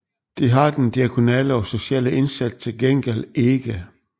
Det har den diakonale og sociale indsats til gengæld ikke